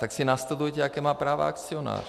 Tak si nastudujte, jaká práva má akcionář.